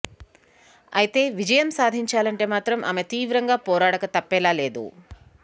ఐతే విజయం సాధించాలంటే మాత్రం ఆమె తీవ్రంగా పోరాడక తప్పేలా లేదు